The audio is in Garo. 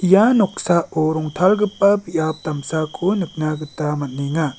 ia noksao rongtalgipa biap damsako nikna gita man·enga.